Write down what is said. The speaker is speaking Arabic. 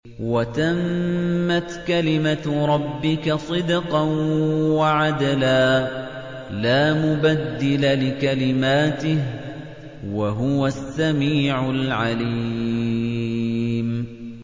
وَتَمَّتْ كَلِمَتُ رَبِّكَ صِدْقًا وَعَدْلًا ۚ لَّا مُبَدِّلَ لِكَلِمَاتِهِ ۚ وَهُوَ السَّمِيعُ الْعَلِيمُ